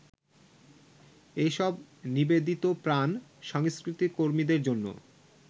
এইসব নিবেদিতপ্রাণ সংস্কৃতিকর্মীদের জন্য